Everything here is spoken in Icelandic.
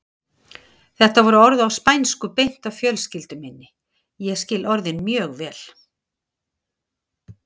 Þetta voru orð á spænsku beint að fjölskyldu minni, ég skil orðin mjög vel.